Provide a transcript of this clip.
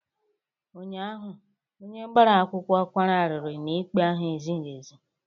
Ụnyaahụ, onye gbara akwụkwọ kwara arịrị na ikpe ahụ ezighi ezi